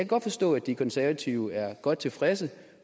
godt forstå at de konservative er godt tilfredse